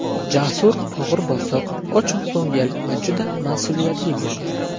Jasur og‘ir-bosiq, ochiqko‘ngil va juda mas’uliyatli bo‘lgan.